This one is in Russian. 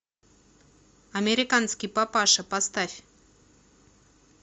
американский папаша поставь